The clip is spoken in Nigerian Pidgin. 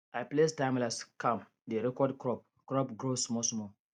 i place timelapse cam dey record crop crop growth smallsmall